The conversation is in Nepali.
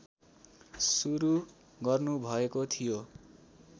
सुरू गर्नुभएको थियो